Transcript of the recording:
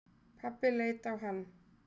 Pabbi leit á hann.